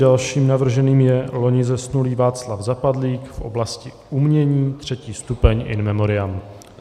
Dalším navrženým je loni zesnulý Václav Zapadlík v oblasti umění, 3. stupeň, in memoriam.